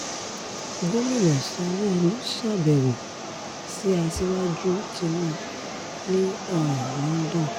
gomina sanwóoru ṣàbẹ̀wò sí aṣíwájú tinubu ní um london